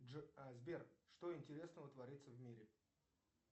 сбер что интересного творится в мире